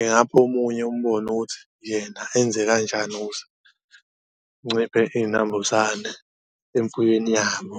engapha omunye umbono ukuthi yena enze kanjani ukuze kunciphe iy'nambuzane emfuyweni yabo.